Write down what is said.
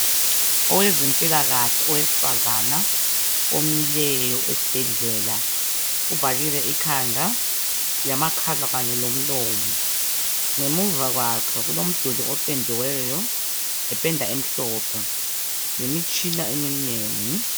Owezempailakahle, owesifazana, omileyo esibhedlela. Uvalile ikhanda, lamakhala kanye lamehlo. Ngemuva kwakhe kulomduli opendiweyo, ngependa emhlophe. Lemitshina eminengi.